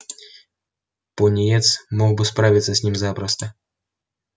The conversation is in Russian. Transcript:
пониетс мог бы справиться с ними запросто